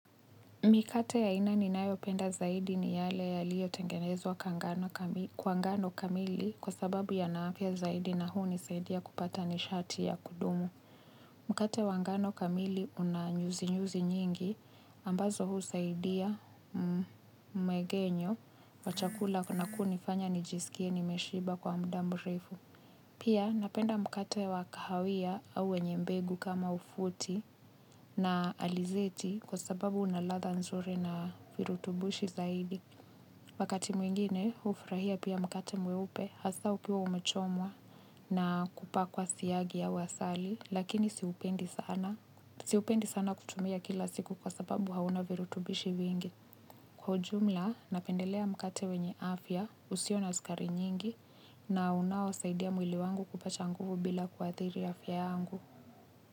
Mikate ya aina ninayopenda zaidi ni ile iliyotengenezwa kwa ngano kamili kwa sababu yana afya zaidi na hunisaidia kupata nishati ya kudumu. Mkate wa ngano kamili una nyuzinyuzi nyingi ambazo husaidia mmeng'enyo wa chakula na kunifanya nijisikie nimeshiba kwa muda mrefu. Pia napenda mkate wa kahawia au wenye mbegu kama ufuti na alizeti kwa sababu una ladha nzuri na virutubisho zaidi. Wakati mwingine hufurahia pia mkate mweupe, hasa ukiwa umechomwa na kupakwa siagi au asali, lakini siupendi sana kuutumia kila siku kwa sababu hauna virutubisho vingi. Kwa jumla, napendelea mkate wenye afya, usio na sukari nyingi, na unaosaidia mwili wangu kupata nguvu bila kuathiri afya yangu.